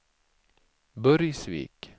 Burgsvik